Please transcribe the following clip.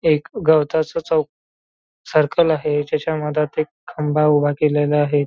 एक गवताचं चौक सर्कल आहे त्याच्या मधात एक खंबा उभा केलेला आहे.